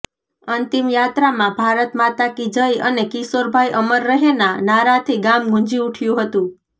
અંતિમ યાત્રામાં ભારત માતાકી જય અને કિશોરભાઇ અમર રહેના નારાથી ગામ ગુંજી ઉઠ્યું હતું